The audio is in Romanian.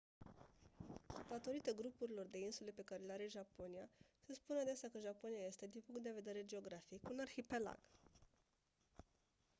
datorită grupurilor de insule pe care le are japonia se spune adesea că japonia este din punct de vedere geografic un «arhipelag».